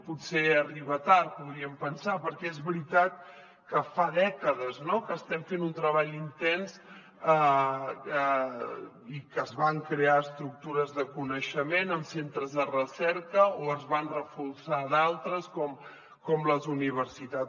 potser arriba tard podríem pensar perquè és veritat que fa dècades que estem fent un treball intens i que es van crear estructures de coneixement en centres de recerca o se’n van reforçar d’altres com les universitats